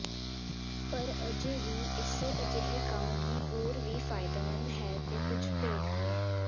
ਪਰ ਅਜੇ ਵੀ ਇਸੇ ਅਜਿਹੇ ਕੰਮ ਨੂੰ ਹੋਰ ਵੀ ਫ਼ਾਇਦੇਮੰਦ ਹੈ ਦੇ ਕੁਝ ਭੇਦ ਹਨ